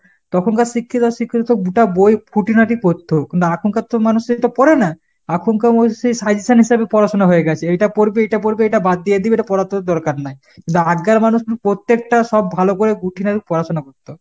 তখনকার শিক্ষিত শিক্ষিত গুটা বই খুঁটিনাটি পড়তো। কিন্তু এখনকার তো মানুষ সেটা পড়ে না। এখনকার মানুষের সেই suggestion হিসাবে পড়াশুনা হয়েগেছে। এটা পড়বে, এটা পড়বে, এটা বাদ দিয়ে দিবে এটা পড়া তো দরকার নাই। কিন্দু আগগার মানুষ পত্তেকটা সব ভালো করে খুঁটিনাটি পড়াশুনা করতো।